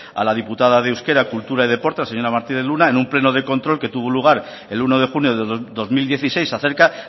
a la diputada de euskera cultura y deporte la señora martínez luna en un pleno de control que tuvo lugar el uno de junio de dos mil dieciséis acerca